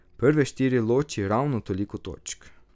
Prve štiri loči ravno toliko točk.